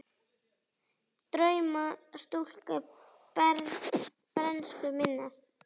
Drauma stúlka bernsku minnar.